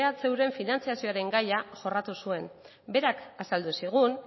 ehuren finantzazioaren gaia jorratu zuen berak azaldu zigun